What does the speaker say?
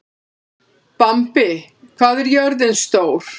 Bambi, hvað er jörðin stór?